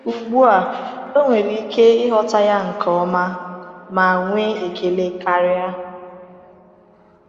Ugbu a, o nwere ike ịghọta ya nke ọma ma nwee ekele karị.”